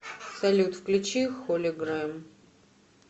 салют включи холигрэм